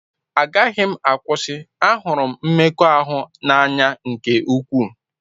Agaghị m akwụsị, ahụrụ m mmekọahụ n'anya nke ukwuu.